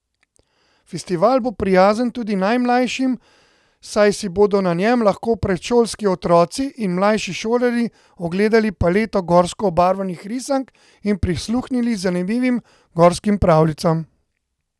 Festival bo prijazen tudi najmlajšim, saj si bodo na njem lahko predšolski otroci in mlajši šolarji ogledali paleto gorsko obarvanih risank in prisluhnili zanimivim gorskim pravljicam.